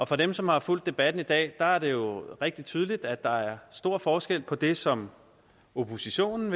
for dem som har fulgt debatten i dag er det jo blevet rigtig tydeligt at der er stor forskel på det som oppositionen